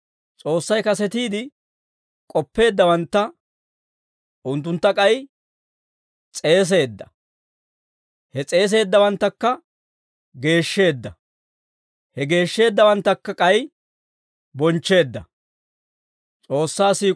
S'oossay kasetiide k'oppeeddawantta, unttuntta k'ay s'eeseedda; he s'eeseeddawanttakka geeshsheedda; he geeshsheeddawanttakka k'ay bonchcheedda.